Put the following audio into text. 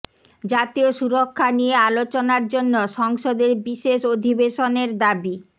জাতীয় সুরক্ষা নিয়ে আলোচনার জন্য সংসদের বিশেষ অধিবেশনের দাবি